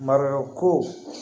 Mariyamu ko